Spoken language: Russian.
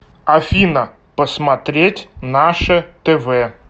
афина посмотреть наше тв